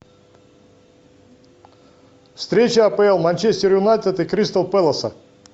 встреча апл манчестер юнайтед и кристал пэласа